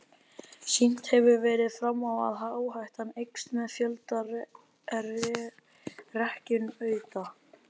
Sýnt hefur verið fram á að áhættan eykst með fjölda rekkjunauta.